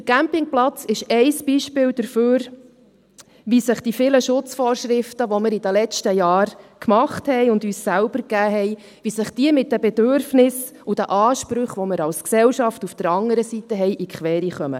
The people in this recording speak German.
Dieser Campingplatz ist ein Beispiel dafür, wie sich die vielen Schutzvorschriften, die wir in den letzten Jahren gemacht und uns selbst gegeben haben, mit den Bedürfnissen und den Ansprüchen, die wir auf der anderen Seite als Gesellschaft haben, in die Quere kommen.